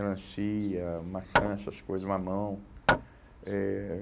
Melancia, maçã, essas coisa, mamão. Eh